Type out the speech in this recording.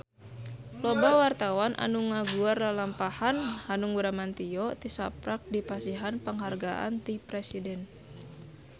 Loba wartawan anu ngaguar lalampahan Hanung Bramantyo tisaprak dipasihan panghargaan ti Presiden